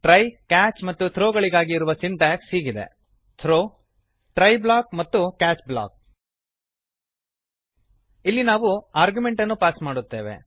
try catch ಮತ್ತು throw ಗಳಿಗಾಗಿ ಇರುವ ಸಿಂಟ್ಯಾಕ್ಸ್ ಹೀಗಿದೆ throw ಟ್ರೈ ಬ್ಲಾಕ್ ಮತ್ತು ಕ್ಯಾಚ್ ಬ್ಲಾಕ್ ಇಲ್ಲಿ ನಾವು ಆರ್ಗ್ಯುಮೆಂಟನ್ನು ಪಾಸ್ ಮಾಡುತ್ತೇವೆ